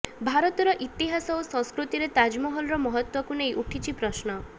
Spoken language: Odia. ଭାରତର ଇତିହାସ ଓ ସଂସ୍କୃତିରେ ତାଜମହଲର ମହତ୍ତ୍ୱକୁ ନେଇ ଉଠିଛି ପ୍ରଶ୍ନ